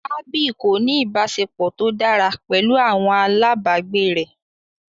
Abby kò ní ìbáṣepọ̀ tó dára pẹ̀lú àwọn alábàgbé rẹ̀.